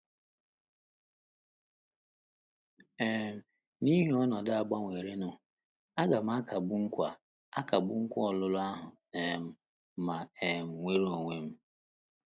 um N’ihi ọnọdụ a gbanwerenụ, àga m akagbu nkwa akagbu nkwa ọlụlụ ahụ um ma um nwere onwe m?